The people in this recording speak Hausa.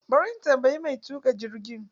Ba ri in tambayi mai tuƙa jirgi.